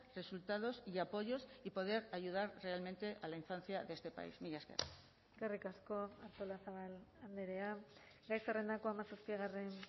resultados y apoyos y poder ayudar realmente a la infancia de este país mila esker eskerrik asko artolazabal andrea gai zerrendako hamazazpigarren